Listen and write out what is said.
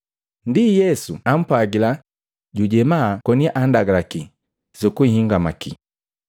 Ndi Yesu ampwagila jujenda koni anndagalaki sukunhingamaki,